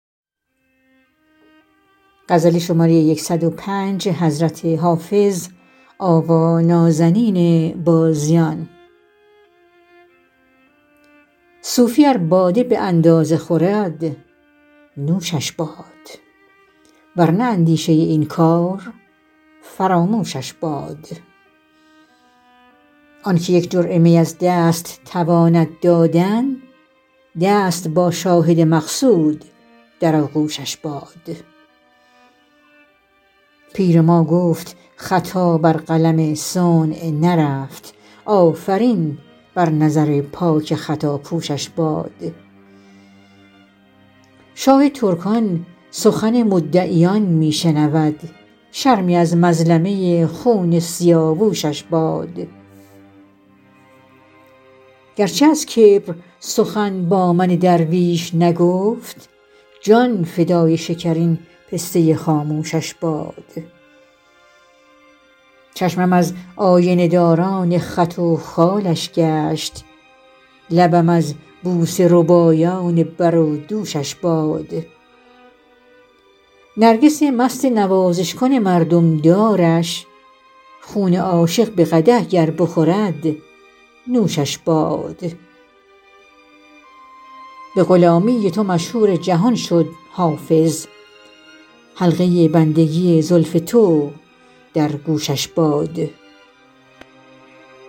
صوفی ار باده به اندازه خورد نوشش باد ور نه اندیشه این کار فراموشش باد آن که یک جرعه می از دست تواند دادن دست با شاهد مقصود در آغوشش باد پیر ما گفت خطا بر قلم صنع نرفت آفرین بر نظر پاک خطاپوشش باد شاه ترکان سخن مدعیان می شنود شرمی از مظلمه خون سیاوشش باد گر چه از کبر سخن با من درویش نگفت جان فدای شکرین پسته خاموشش باد چشمم از آینه داران خط و خالش گشت لبم از بوسه ربایان بر و دوشش باد نرگس مست نوازش کن مردم دارش خون عاشق به قدح گر بخورد نوشش باد به غلامی تو مشهور جهان شد حافظ حلقه بندگی زلف تو در گوشش باد